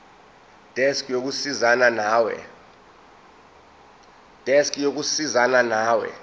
desk yokusizana nawe